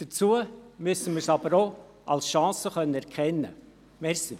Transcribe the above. Dazu müssten wir dies aber auch als Chance erkennen können.